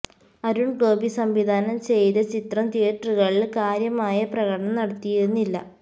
അരുണ് ഗോപി സംവിധാനം ചെയ്ത ചിത്രം തിയറ്ററുകളില് കാര്യമായ പ്രകടനം നടത്തിയിരുന്നില്ല